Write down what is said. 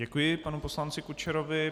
Děkuji panu poslanci Kučerovi.